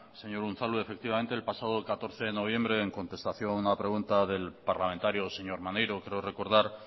señor unzalu efectivamente el pasado catorce de noviembre en contestación a una pregunta del parlamentario señor maneiro creo recordar